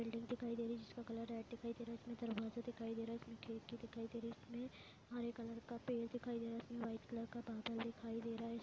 एक बिल्डिंग दिखाई दे रही है जिसका कलर रेड दिखाई दे रहा है जिसमें दरवाजा दिखाई दे रहा है इसमें खिड़की दिखाई दे रही है इसमें हरे कलर का पेड़ दिखाई दे रहा है इसमें वाइट कलर का बादल दिखाई दे रहा है।